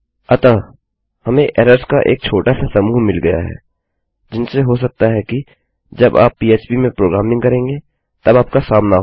अतः हमें एरर्स का एक छोटा सा समूह मिल गया है जिनसे हो सकता है कि जब आप पीएचपी में प्रोग्रामिंग करेंगे तब आपका सामना हो